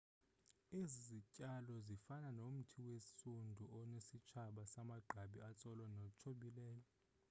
ezi zityalo zifana nomthi wesundu onesitshaba samagqabi atsolo natsobhileyo